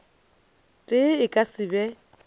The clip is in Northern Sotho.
tee e ka se be